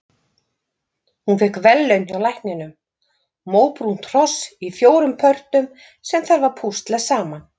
Hún fékk verðlaun hjá lækninum- móbrúnt hross í fjórum pörtum sem þarf að púsla saman.